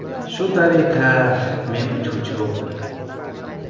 Shu tariqa men uchuvchi bo‘ldim.